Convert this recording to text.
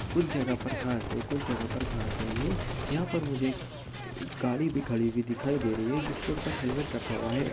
कुछ जगह पर घास है कुछ जगह पर घास नहीं है। यहाँ पर मुझे एक गाड़ी भी खड़ी भी दिखाई दे रही है जिसके ऊपर हेलमेट रखा हुआ है।